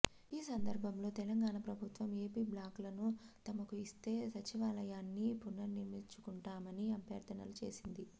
ఈ సందర్భంలో తెలంగాణ ప్రభుత్వం ఏపీ బ్లాక్లను తమకు ఇస్తే సచివాలయాన్ని పునర్నిర్మించుకుంటామని అభ్యర్థనలు చేసింది